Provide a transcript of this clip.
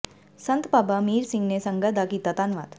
ਸੰਤ ਬਾਬਾ ਅਮੀਰ ਸਿੰਘ ਨੇ ਸੰਗਤ ਦਾ ਕੀਤਾ ਧੰਨਵਾਦ